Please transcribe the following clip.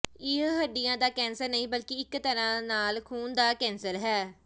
ਇਹ ਹੱਡੀਆਂ ਦਾ ਕੈਂਸਰ ਨਹੀਂ ਬਲਕਿ ਇਕ ਤਰ੍ਹਾਂ ਨਾਲ ਖ਼ੂਨ ਦਾ ਕੈਂਸਰ ਹੈ